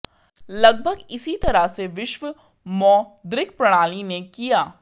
लगभग इसी तरह से विश्व मौद्रिक प्रणाली ने किया